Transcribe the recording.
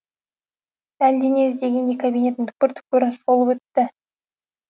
әлдене іздегендей кабинеттің түкпір түкпірін шолып өтті